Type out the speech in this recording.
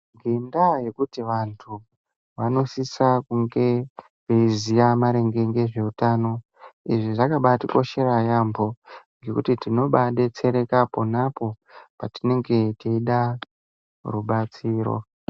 Ngendaa yekuti antu anosisa kunge vaiziva mainge ngezveutano. Izvi zvakabatikoshera yaamho nekuti tinobabetsereka ponapo patinenge teida rubatsiro.